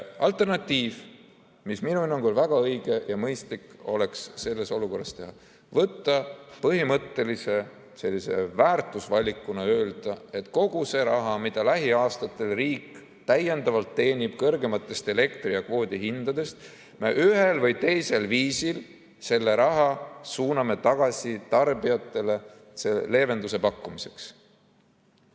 Alternatiiv, mida minu hinnangul oleks väga õige ja mõistlik selles olukorras teha: põhimõttelise väärtusvalikuna öelda, et kogu selle raha, mida riik lähiaastatel täiendavalt teenib kõrgematest elektri‑ ja kvoodihindadest, me ühel või teisel viisil suuname tagasi tarbijatele leevenduse pakkumiseks.